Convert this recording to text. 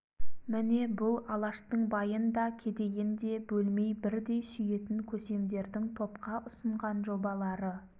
міне бұл алаштың байын да кедейін де бөлмей бірдей сүйетін көсемдердің топқа ұсынған жобалары